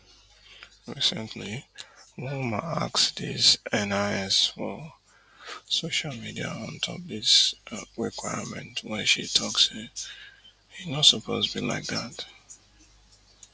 recently one woman ask dis NIS for social media ontop dis requirement wen she tok say e no suppose be like dat